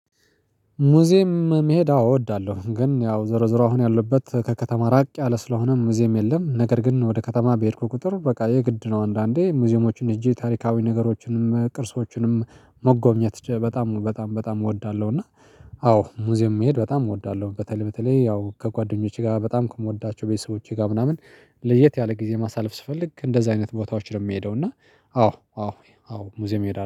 ሙዚየም መሄድ አዎ እወዳለሁ ግን ያው ዘርዝሮ አሁን ያለሁበት ከከተማ ራቅ ያለ ስለሆነም ሙዚየም የለም ነገር ግን ወደ ከተማ በሄድኩ ቁጥር በቃ የግድ ነው አንዳንዴ ሙዚየሞችን ሄጄ ታሪካዊ ነገሮችንም ቅርሶችንም መጎብኘት በጣም በጣም በጣም እወዳለሁ። እና አዎ ሙዚየም መሄድ በጣም እወዳለሁ በተለይ በተለይ ያው ከጓደኞቼ ጋር በጣም ከምወዳቸው ቤተሰቦቼ ጋር ምናምን ለየት ያለ ጊዜ ማሳለፍ ስፈልግ እንደዛ አይነት ቦታዎች ነው የሚሄደው። እና አዎ አዎ አዎ ሙዚየም እሄዳለሁ